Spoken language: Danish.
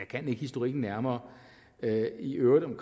kan ikke historikken nærmere i øvrigt om